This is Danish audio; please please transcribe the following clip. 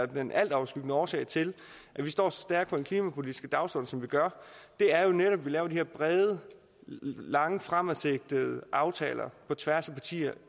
den altoverskyggende årsag til at vi står så stærkt på den klimapolitiske dagsorden som vi gør er jo netop at vi laver de her brede langsigtede og aftaler på tværs af partierne